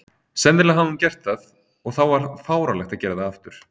Sennilega hafði hún gert það, og þá var fáránlegt að gera það aftur.